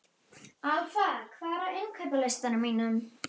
Alfa, hvað er á innkaupalistanum mínum?